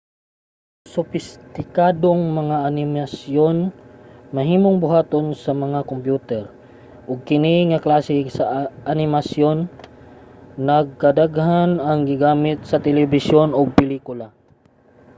ang sopistikadong mga animasyon mahimong buhaton sa mga kompyuter ug kini nga klase sa animasyon nagkadaghan nga gigamit sa telebisyon ug pelikula